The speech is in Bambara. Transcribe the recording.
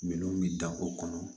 Minɛnw bɛ danko kɔnɔ